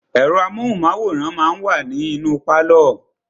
Ẹ̀rọ amóhùnmáwòrán máà wa ní inú pálọ̀.